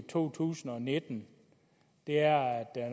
to tusind og nitten er